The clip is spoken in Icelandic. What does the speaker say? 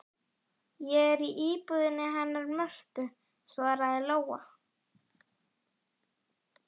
Ég er í íbúðinni hennar Mörtu, svaraði Lóa.